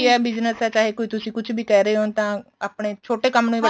business ਏ ਚਾਹੇ ਤੁਸੀਂ ਕੁੱਝ ਵੀ ਤੁਸੀਂ ਕਹਿ ਰਹੇ ਓ ਤਾਂ ਆਪਣੇ ਕੰਮ ਨੂੰ